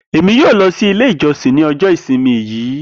Emi yoo lọ si ile ijọsin ni ọjọ isimi yii